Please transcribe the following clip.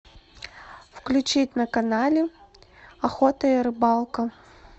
включить на канале охота и рыбалка